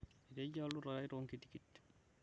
etejia oltudutai tonkitikt